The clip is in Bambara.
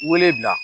Wele bila